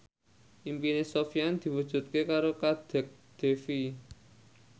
impine Sofyan diwujudke karo Kadek Devi